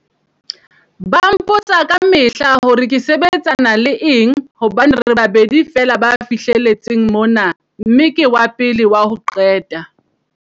Ba mpotsa kamehla hore ke sebetsana le eng hobane re babedi feela ba fihle letseng mona mme ke wa pele wa ho qeta